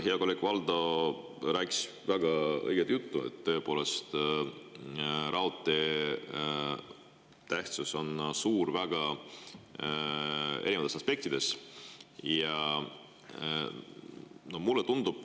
Hea kolleeg Valdo rääkis väga õiget juttu, tõepoolest, raudtee tähtsus on suur väga erinevates aspektides.